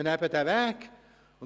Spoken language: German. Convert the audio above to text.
Man muss diesen Weg gehen.